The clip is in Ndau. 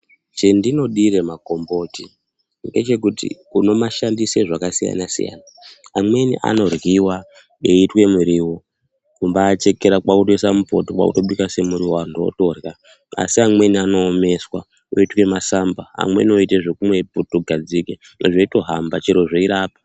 Chendinodire magomboti ,ngechekuti unomashandise zvakasiyana-siyana. Amweni anoryiwa, eiitwe miriwo, kumbaachekera kwaakutoisa mupoto ,kwaakutobika semuriwo, antu otorya, asi amweni anoomeswa oitwe masamba. Amweni oitwe zvekumwe putugadzike ,zveitohamba chero zveirapa.